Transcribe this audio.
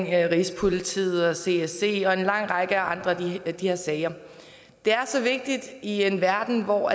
rigspolitiet og csc og en lang række andre af de her sager det er så vigtigt i en verden hvor